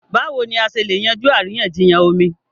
Báwo ni a ṣe lè yanjú àríyànjiyàn omi?